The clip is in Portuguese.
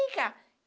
Vem cá